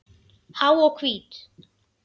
Há og hvít.